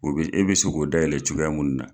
O bɛ e bɛ se k'o dayɛlɛ cogoya mun na.